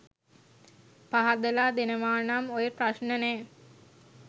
පහදලා දෙනවනම් ඔය ප්‍රශ්න නෑ